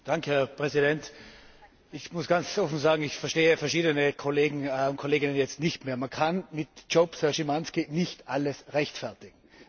Herr Präsident! Ich muss ganz offen sagen, ich verstehe verschiedene Kollegen und Kolleginnen jetzt nicht mehr. Man kann mit Jobs, Herr Szymański, nicht alles rechtfertigen.